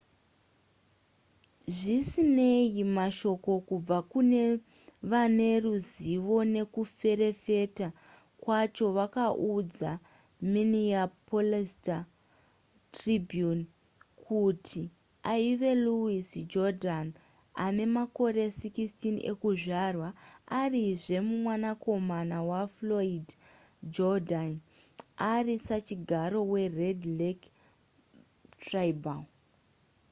zvisinei mashoko kubva kune vane ruzivo nezvekuferefeta kwacho vakaudza minneapolis star-tribune kuti aive louis jourdan ane makore 16 ekuzvarwa arizve mwanakomana wafloyd jourdain ari sachigaro wered lake tribal